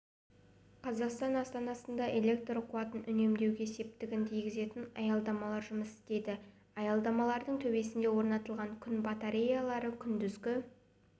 қазақстан астанасында электр қуатын үнемдеуге септігін тигізетін аялдамалар жұмыс істейді аялдамалардың төбесіне орнатылған күн батареялары күндізгі